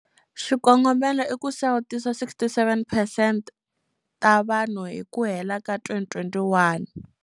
Xikongomelo i ku sawutisa 67 percent ta vanhu hi ku hela ka 2021.